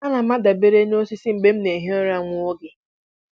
Ana m adabere n'osisi mgbe m na-ehi ụra nwa oge.